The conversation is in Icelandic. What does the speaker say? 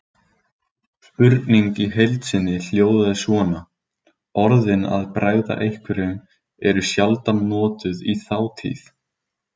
Spurningin í heild sinni hljóðaði svona: Orðin að bregða einhverjum eru sjaldan notuð í þátíð.